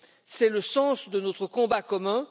C'est le sens de notre combat commun.